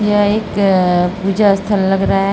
यह एक पूजा स्थल लग रहा है।